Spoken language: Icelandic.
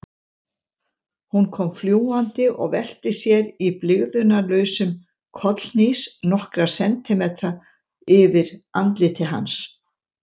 Hún kom fljúgandi og velti sér í blygðunarlausum kollhnís nokkra sentimetra yfir andliti hans.